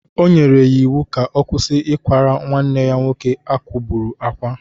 O nyere ya iwu ka ọ kwụsị ikwara nwanne ya nwoke a kwugburu akwa!